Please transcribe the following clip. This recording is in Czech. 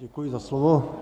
Děkuji za slovo.